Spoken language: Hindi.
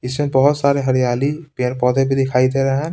इसमें बहुत सारे हरियाली पेड़-पौधे भी दिखाई दे रहे हैं।